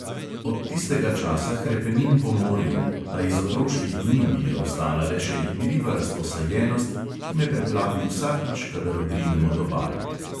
Od tistega časa hrepenim po morju, a iz otroških dni mi je ostala le še igriva razposajenost, ki me preplavi vsakič, kadar odrinem od obale.